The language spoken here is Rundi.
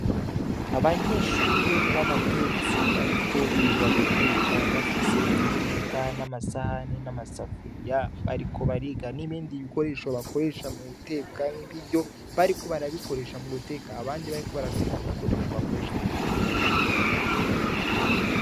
Abanyeshure babatetsi bariko biga guteka bafise imbugita n'amasahani n'amasafuriya bariko bariga n'ibindi bikoresho bakoresha mu guteka nkibiryo bariko barabikoresha mu guteka, aho abandi bariko barategura ibikoresho bakoresha guteka.